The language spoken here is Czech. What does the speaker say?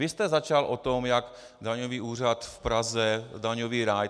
Vy jste začal o tom, jak daňový úřad v Praze - daňový ráj.